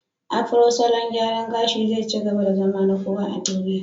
Afro salon gyaran gashi zai ci gaba da zama na kowa a duniya.